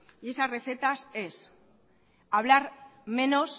esa receta es hablar menos